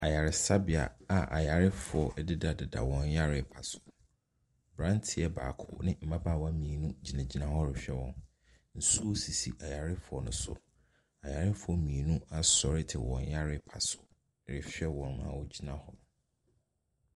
Ayaresabea a ayarefoɔ dida dida wɔn yare mpaso abranteɛ baako ne mmabawa mmienu gyina ɔhwɛ wɔn nsuo sisi ayarefoɔ no so ayarefoɔ mmienu te wɔn mpaso ɛhwɛ wɔn a ɔgyina hɔ.